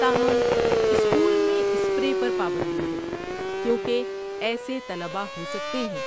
تاہم، اسکول میں اسپرے پر پابندی ہے کیونکہ ایسے طلبہ ہو سکتے ہیں